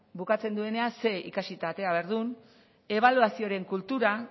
bukatzen duenean ze ikasita atera behar den ebaluazioren kultura